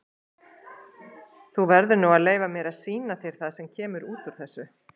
Þú verður nú að leyfa mér að sýna þér það sem kemur út úr þessu.